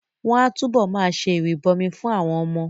Wọ́n á túbọ̀ ma ṣe ìrìbọmi fún àwọn ọmọ